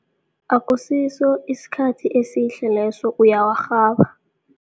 Akusiso isikhathi esihle leso uyawarhaba.